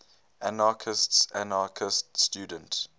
anarchistes anarchist student